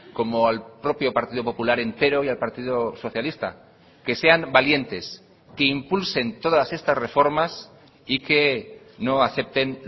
como al propio partido popular entero y al partido socialista que sean valientes que impulsen todas estas reformas y que no acepten